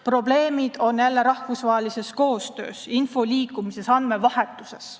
Probleemid on jälle rahvusvahelises koostöös, info liikumises, andmevahetuses.